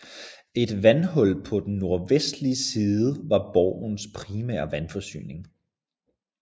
Et vandhul på den nordvestlige side var borgens primære vandforsyning